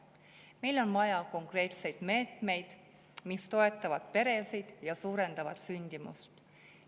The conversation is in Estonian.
Meil on vaja konkreetseid meetmeid, mis toetavad peresid ja suurendavad sündimust.